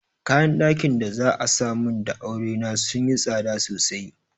Kayan ɗakin da za'a mun da aure na sunyi tsada sosai.